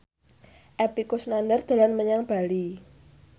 Epy Kusnandar dolan menyang Bali